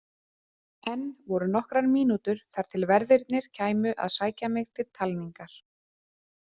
Enn voru nokkrar mínútur þar til verðirnir kæmu að sækja mig til talningar.